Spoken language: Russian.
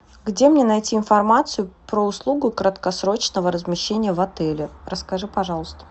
где мне найти информацию про услугу краткосрочного размещения в отеле расскажи пожалуйста